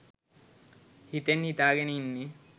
හිතෙන් හිතාගෙන ඉන්නේ